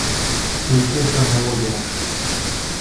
включи хронология